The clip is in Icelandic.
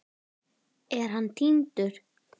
Er hann týndur?